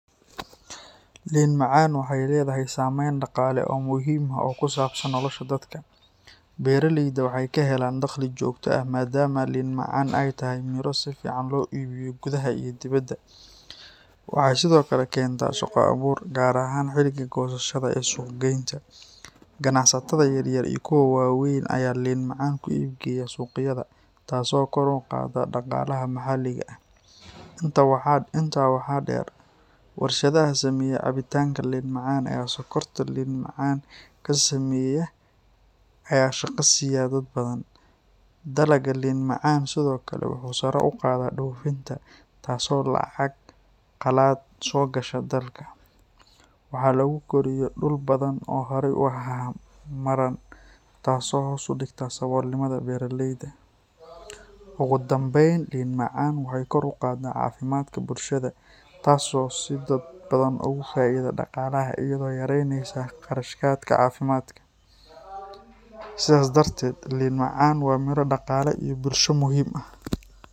Liin macaan waxay leedahay saameyn dhaqaale oo muhiim ah oo ku saabsan nolosha dadka. Beeraleyda waxay ka helaan dakhli joogto ah maadaama liin macaan ay tahay miro si fiican loo iibiyo gudaha iyo dibaddaba. Waxay sidoo kale keentaa shaqo abuur, gaar ahaan xilliga goosashada iyo suuq-geynta. Ganacsatada yaryar iyo kuwa waaweyn ayaa liin macaan ku iib geeya suuqyada, taasoo kor u qaadda dhaqaalaha maxalliga ah. Intaa waxaa dheer, warshadaha sameeya cabitaanka liin macaan ama sokorta liin macaan ka sameeya ayaa shaqo siiya dad badan. Dalagga liin macaan sidoo kale wuxuu sare u qaadaa dhoofinta, taasoo lacag qalaad soo gasha dalka. Waxaa lagu koriyo dhul badan oo horay u ahaa madhan, taasoo hoos u dhigta saboolnimada beeraleyda. Ugu dambayn, liin macaan waxay kor u qaadaa caafimaadka bulshada, taasoo si dadban ugu faa’iida dhaqaalaha iyadoo yaraynaysa kharashaadka caafimaad. Sidaas darteed, liin macaan waa miro dhaqaale iyo bulsho muhiim u ah.